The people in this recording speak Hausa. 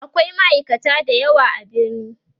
akwai ma'aikata da yawa a birni